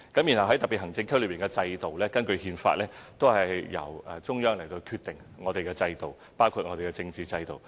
至於特別行政區內的制度，根據憲法，均由中央決定我們的制度，包括政治制度。